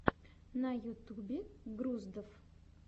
на ютюбе груздов